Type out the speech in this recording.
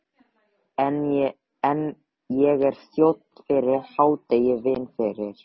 Ég er þjónn fyrir hádegi, vinn fyrir